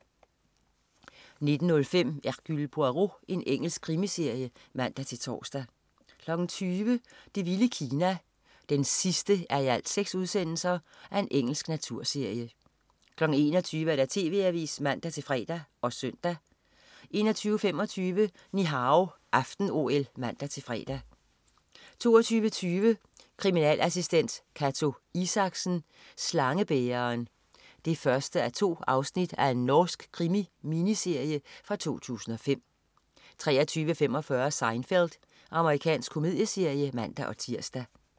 19.05 Hercule Poirot. Engelsk krimiserie (man-tors) 20.00 Det vilde Kina 6:6. Engelsk naturserie 21.00 TV Avisen (man-fre og søn) 21.25 Ni Hao aften-OL (man-fre) 22.20 Kriminalassistent Cato Isaksen: Slangebæreren 1:2. Norsk krimi-miniserie fra 2005 23.45 Seinfeld. Amerikansk komedieserie (man-tirs)